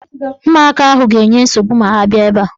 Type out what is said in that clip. Ụmụaka ahụ ga-enye nsogbu ma ha bịa ebe a.